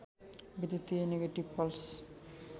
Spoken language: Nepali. विद्युतीय नेगेटिभ पल्स